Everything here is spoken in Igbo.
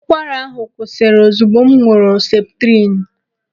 Ụkwara ahụ kwụsịrị ozugbo m ṅụrụ seputrinu.